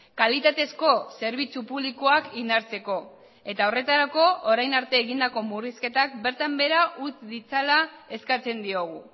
kalitatezko zerbitzu publikoak indartzeko eta horretarako orain arte egindako murrizketak bertan behera utz ditzala eskatzen diogu